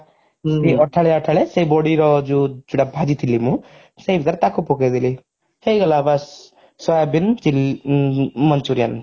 ଅଠାଳିଆ ଅଠାଳିଆ ସେ ବଡିର ଯଉ ସେଟା ଭାଜିଥିଲି ମୁଁ ସେଇଥିରେ ତାକୁ ପକେଇଦେଲି ହେଇଗଲା ବାସ soybean chilli manchurian